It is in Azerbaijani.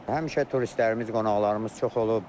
Həmişə turistlərimiz, qonaqlarımız çox olub.